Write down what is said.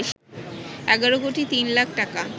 ১১ কোটি তিন লাখ টাকা